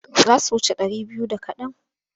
Za su wuce ɗari biyu da kaɗan.